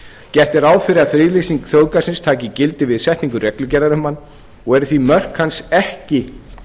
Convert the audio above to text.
gert er ráð fyrir að friðlýsing þjóðgarðsins taki gildi við setningu reglugerðar um hann og eru því mörk hans ekki